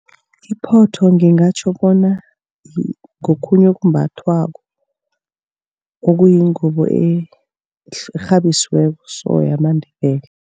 Iphotho ngingatjho bona ngokhunye okumbathwako. Okuyingubo ekghabisiweko so yamaNdebele.